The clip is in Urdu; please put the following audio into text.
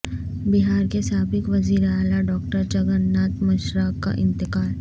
بہار کے سابق وزیر اعلی ڈاکٹر جگن ناتھ مشرا کا انتقال